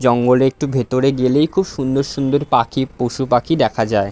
জঙ্গলে একটু ভেতরে গেলেই খুব সুন্দর সুন্দর পাখি পশু-পাখি দেখা যায় ।